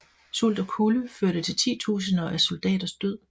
Sult og kulde førte til titusinder af soldaters død